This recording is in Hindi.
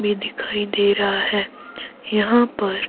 भी दिखाई दे रहा है यहां पर--